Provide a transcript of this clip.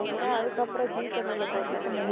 அதுக்கப்புறம் ஜீ தமிழ்ல போட்டாங்க